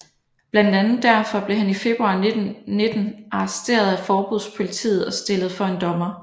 Blandt andet derfor blev han i februar 1919 arresteret af forbundspolitiet og stillet for en dommer